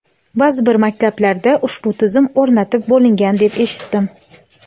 Ba’zi bir maktablarda ushbu tizim o‘rnatib bo‘lingan deb eshitdim.